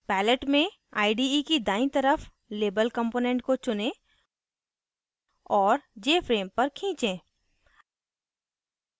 palette में ide की दाईं तरफ label component को चुनें और jframe पर खींचे